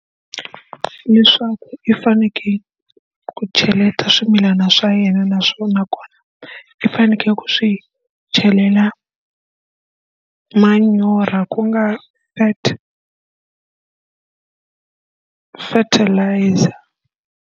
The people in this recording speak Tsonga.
Leswaku i fanekele ku cheleta swimilana swa yena naswona nakona i fanekele ku swi chelela manyoro ku nga fertilizer.